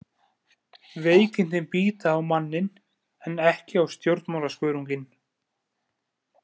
Veikindin bíta á manninn en ekki á stjórnmálaskörunginn.